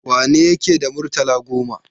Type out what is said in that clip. Wane yake da murtala goma?